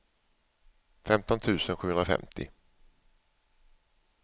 femton tusen sjuhundrafemtio